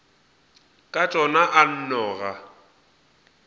ka tšona a nno ga